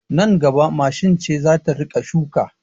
Nan gaba mashin ce za ta rika shuki